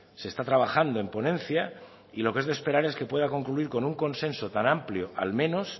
se está trabajando en ponencia y lo que es de esperar es que pueda concluir con un consenso tan amplio al menos